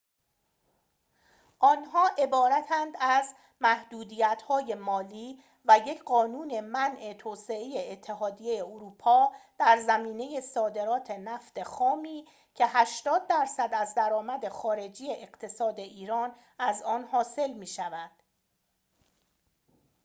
آنها عبارتند از محدودیت‌های مالی و یک قانون منع توسط اتحادیه اروپا در زمینه صادرات نفت خامی که ۸۰% از درآمد خارجی اقتصاد ایران از آن حاصل می‌شود